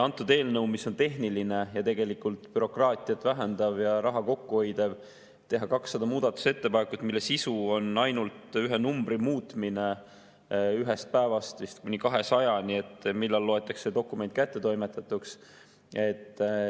Antud eelnõu kohta, mis on tehniline ja tegelikult bürokraatiat vähendav ja raha kokku hoidev, tehti 200 muudatusettepanekut, mille sisu on ainult ühe numbri muutmine ühest päevast kuni 200‑ni, millal loetakse dokument kättetoimetatuks.